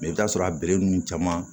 i bɛ t'a sɔrɔ a be nun caman